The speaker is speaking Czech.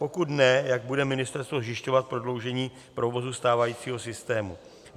Pokud ne, jak bude ministerstvo zajišťovat prodloužení provozu stávajícího systému?